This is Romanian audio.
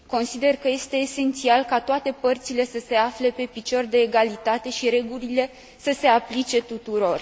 Consider că este esențial ca toate părțile să se afle pe picior de egalitate și regulile să se aplice tuturor.